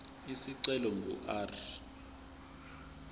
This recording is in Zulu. isicelo ingu r